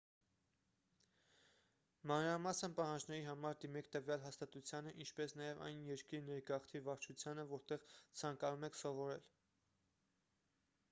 մանրամասն պահանջների համար դիմեք տվյալ հաստատությանը ինչպես նաև այն երկրի ներգաղթի վարչությանը որտեղ ցանկանում եք սովորել